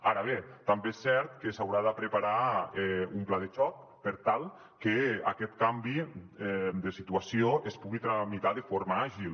ara bé també és cert que s’haurà de preparar un pla de xoc per tal que aquest canvi de situació es pugui tramitar de forma àgil